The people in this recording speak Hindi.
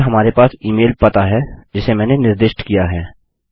और हमारे पास ई मेल पता है जिसे मैंने निर्दिष्ट किया है